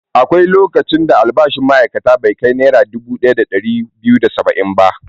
Akwai lokacin da albashin ma'aikaci bai kai Naira dubu ɗaya da ɗari biyu da saba'in ba.